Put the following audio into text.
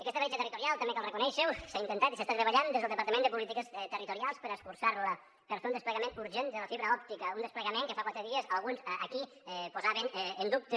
aquesta bretxa territorial també cal reconèixer ho s’ha intentat i s’està treballant des del departament de polítiques territorials per escurçar la per fer un desplegament urgent de la fibra òptica un desplegament que fa quatre dies alguns aquí posaven en dubte